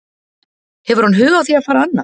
Hefur hann hug á því að fara annað?